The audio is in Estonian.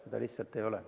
Sedasi lihtsalt ei ole.